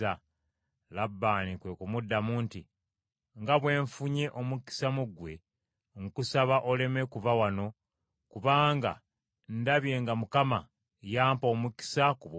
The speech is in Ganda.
Labbaani kwe kumuddamu nti, “Nga bwe nfunye omukisa mu ggwe, nkusaba oleme kuva wano, kubanga ndabye nga Mukama yampa omukisa ku bubwo.